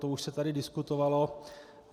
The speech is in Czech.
To už se tady diskutovalo.